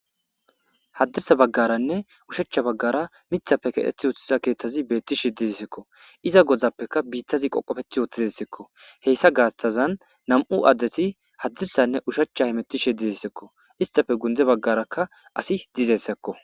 Haddisa baggaranne ushachcha baggara mithape ketheth uththiza keettazi beetti shidissekko iza godzappeka biittazi qoqofeth oothizessekko heyssa gaastazan nam7u addeti haddissanne ushachcha himetti shi dizissekko istafe gundze baggarakka asi dizessekko